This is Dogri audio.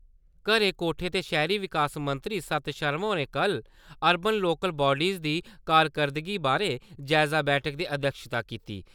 घरे-कोठें ते शैहरी विकास मंत्री सत्त शर्मा होरें कल अरवन लोकल वाडिज दी कारकरदगी बारै जायजा बैठका दी अध्यक्षता किती।